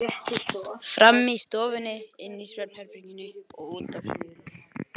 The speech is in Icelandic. Frammi í stofunni, inni í svefnherberginu og úti á svölunum.